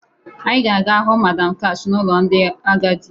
Anyị ga-aga hụ Madam Kash n'ụlọ ndị agadi